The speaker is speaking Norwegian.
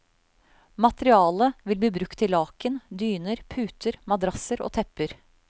Materialet vil bli brukt til laken, dyner, puter, madrasser og tepper.